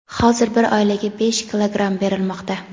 hozir bir oilaga besh kilogramm berilmoqda.